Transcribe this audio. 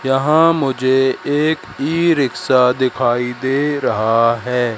यहां मुझे एक भी रिक्शा दिखाई दे रहा है।